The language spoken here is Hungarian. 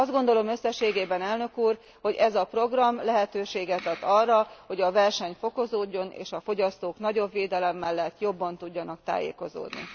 Azt gondolom összességében elnök úr, hogy ez a program lehetőséget ad arra, hogy a verseny fokozódjon, és a fogyasztók nagyobb védelem mellett, jobban tudjanak tájékozódni.